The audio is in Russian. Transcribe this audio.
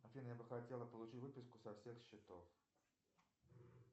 афина я бы хотел получить выписку со всех счетов